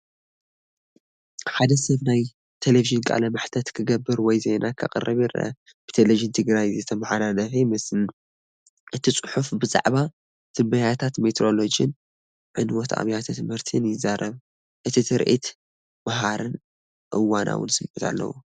ሓደ ሰብ ናይ ተለቪዥን ቃለ መሕትት ክገብር ወይ ዜና ከቕርብ ይረአ። ብቴሌቪዥን ትግራይ ዝተመሓላለፈ ይመስል። እቲ ጽሑፍ ብዛዕባ ትንበያታት ሜትሮሎጂን ዕንወት ኣብያተ ትምህርትን ይዛረብ። እቲ ትርኢት መሃርን እዋናውን ስምዒት ኣለዎ።